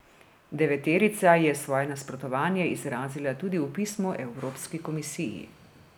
Deveterica je svoje nasprotovanje izrazila tudi v pismu Evropski komisiji.